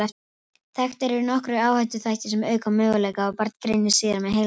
Þekktir eru nokkrir áhættuþættir sem auka möguleika á að barn greinist síðar með heilalömun.